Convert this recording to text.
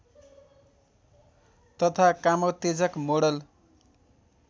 तथा कामोत्तेजक मोडल